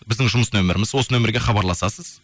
біздің жұмыс нөмеріміз осы нөмерге хабарласасыз